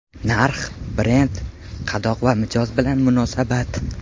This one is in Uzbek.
Narx, brend , qadoq va mijoz bilan munosabat.